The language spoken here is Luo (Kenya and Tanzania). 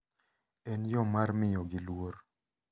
En yo mar miyogi luor.